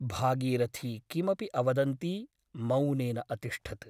भागीरथी किमपि अवदन्ती मौनेन अतिष्ठत् ।